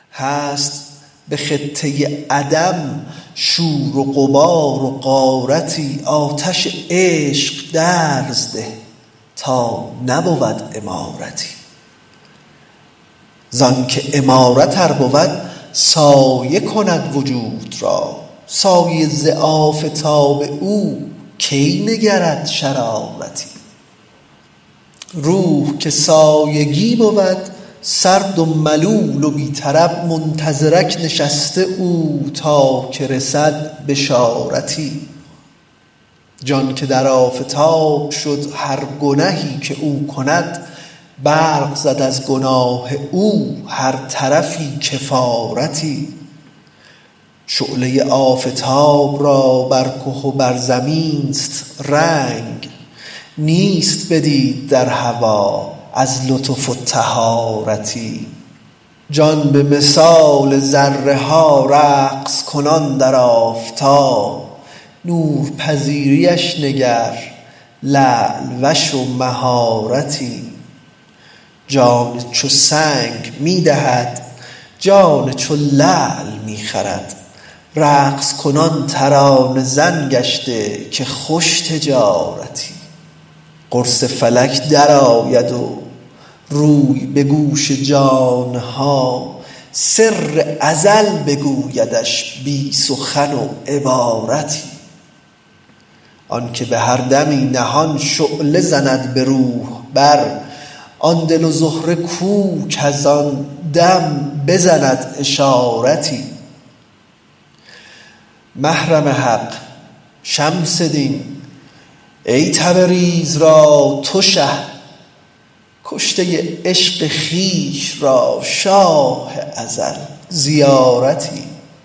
هست به خطه عدم شور و غبار و غارتی آتش عشق درزده تا نبود عمارتی ز آنک عمارت ار بود سایه کند وجود را سایه ز آفتاب او کی نگرد شرارتی روح که سایگی بود سرد و ملول و بی طرب منتظرک نشسته او تا که رسد بشارتی جان که در آفتاب شد هر گنهی که او کند برق زد از گناه او هر طرفی کفارتی شعله آفتاب را بر که و بر زمین است رنگ نیست بدید در هوا از لطف و طهارتی جان به مثال ذره ها رقص کنان در آفتاب نورپذیریش نگر لعل وش و مهارتی جان چو سنگ می دهد جان چو لعل می خرد رقص کنان ترانه زن گشته که خوش تجارتی قرص فلک درآید و روی به گوش جان ها سر ازل بگویدش بی سخن و عبارتی آنک به هر دمی نهان شعله زند به روح بر آن دل و زهره کو کز آن دم بزند اشارتی محرم حق شمس دین ای تبریز را تو شه کشته عشق خویش را شاه ازل زیارتی